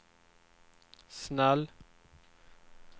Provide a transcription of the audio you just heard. snäll